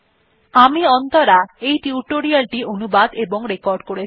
আমি অন্তরা এই টিউটোরিয়াল টি অনুবাদ এবং রেকর্ড করেছি